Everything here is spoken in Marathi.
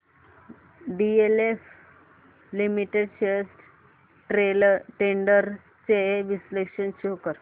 डीएलएफ लिमिटेड शेअर्स ट्रेंड्स चे विश्लेषण शो कर